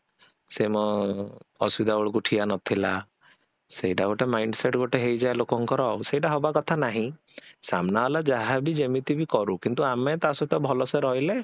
ସେ ମୋ ଅସୁବିଧା ବେଳକୁ ଠିଆ ନଥିଲା ସେଟା ଗୋଟେ mindset ଗୋଟେ ହେଇଯାଏ ଲୋକଙ୍କର ଆଉ ସେଟା ହବା କଥା ନାହିଁ, ସାମ୍ନା ବାଲା ଯାହାବି ଯେମତି ବି କରୁ କିନ୍ତୁ ଆମେ ତା ସହିତ ଭଲସେ ରହିଲେ